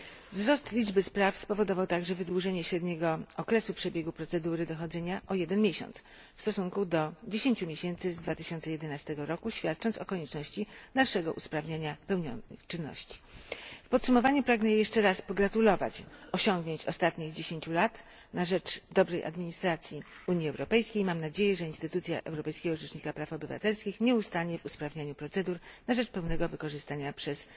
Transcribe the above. Wzrost liczby spraw spowodował także wydłużenie średniego okresu przebiegu procedury dochodzenia o jeden miesiąc w stosunku do 10 miesięcy z 2011 roku, co świadczy o konieczności dalszego usprawniania realizowanych czynności. W podsumowaniu pragnę jeszcze raz pogratulować osiągnięć ostatnich dziesięciu lat na rzecz dobrej administracji Unii Europejskiej i mam nadzieję, że instytucja Europejskiego Rzecznika Praw Obywatelskich nie ustanie w usprawnianiu procedur na rzecz pełnego korzystania przez